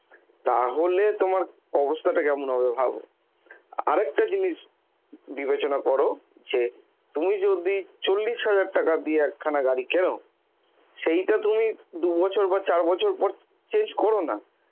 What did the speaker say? তাহলে তোমার অবস্থাটা কেমন হবে ভাবো আর একটা জিনিস বিবেচনা কর যে তুমি যদি চল্লিশ হাজার টাকা দিয়ে একখানা গাড়ি কেন সেইটা তুমি দু'বছর বা চার বছর পর change করো না